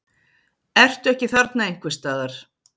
Ertu ekki þarna einhvers staðar?